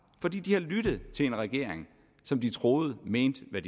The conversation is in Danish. for de har lyttet til en regering som de troede mente hvad